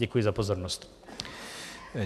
Děkuji za pozornost.